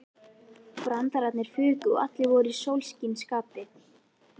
Brandararnir fuku og allir voru í sólskinsskapi.